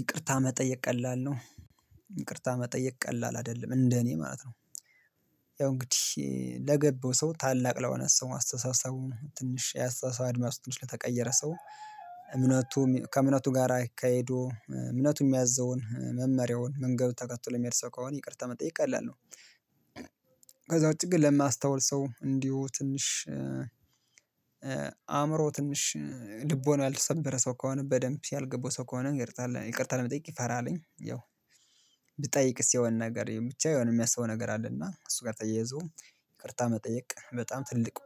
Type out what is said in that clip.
ይቅርታ መጠየቅ ቀላል ነው። ይቅርታ መጠየቅ ቀላል አይደለም እንደ እኔ ማለት ነው። ያው እንግዲህ ለገባው ሰው ታላቅ ለሆነ ሰው አስተሳሰቡ ትንሽ የአስተሳሰብ አድማሱ ትንሽ ለተቀየረ ሰው እምነቱም ከእምነቱ ጋር አይካሄዱ እምነቱም ሚያዝዘውን መመሪያውን መንገዱን ተከትሎ የሚሄድ ሰው ከሆነ ይቅርታ መጠየቅ ቀላል ነው። ከዛ ውጪ ግን ለማስተዋል ሰው እንዲሁ ትንሽ አእምሮ ትንሽ ልቦና ያልተሰበረ ሰው ከሆነ በደንብ ያልገባው ሰው ከሆነ ይቅርታ ለመጠየቅ ይፈራልኝ። ያው ብጠይቅስ የሆነ ነገር ብቻ የሆነ የሚያስበው ነገር አለና እሱ ጋር ተያይዞ ይቅርታ መጠየቅ በጣም ትልቅ